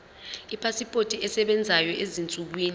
ipasipoti esebenzayo ezinsukwini